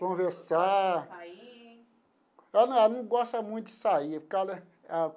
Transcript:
Conversar. Sair. Ela não não gosta muito de sair por causa da.